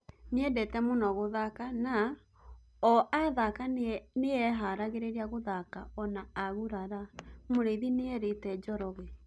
"Nĩendete mũno gũthaka na o athaka nĩeharagĩrĩria gũthaka ona agurara", Mũrithi nĩrĩte Njoroge